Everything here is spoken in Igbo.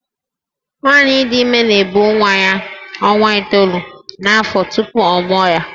Nwaanyị dị ime na-ebu nwa ya ọnwa itoolu n’afọ tupu ọ mụọ ya